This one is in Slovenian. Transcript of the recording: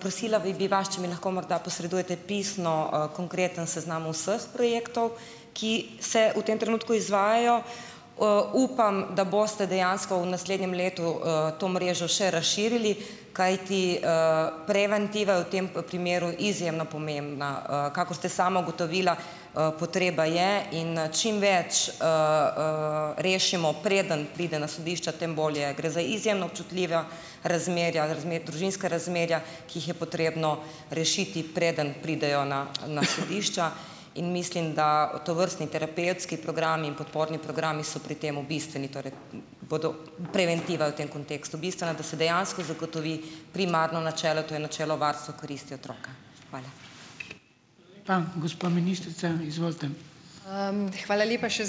Prosila bi, bi vas, če mi lahko morda posredujete pisno, konkreten seznam vseh projektov, ki se v tem trenutku izvajajo. Upam, da boste dejansko v naslednjem letu, to mrežo še razširili, kajti preventiva je v tem primeru izjemno pomembna. Kakor ste sama ugotovila, potreba je in čim več rešimo, preden pride na sodišče, tem bolje. Gre za izjemno občutljiva razmerja, družinska razmerja, ki jih je potrebno rešiti, preden pridejo na, na sodišča, in mislim, da tovrstni terapevtski programi in podporni programi so pri tem bistveni, torej, bodo, preventiva je v tem kontekstu bistvena, da se dejansko zagotovi primarno načelo, to je načelo varstva koristi otroka. Hvala.